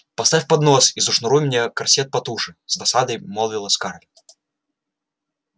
поставь поднос и зашнуруй мне корсет потуже с досадой молвила скарлетт